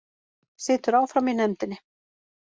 Situr áfram í nefndinni